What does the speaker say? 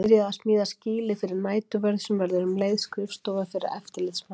Byrjað að smíða skýli fyrir næturvörð sem verður um leið skrifstofa fyrir eftirlitsmann.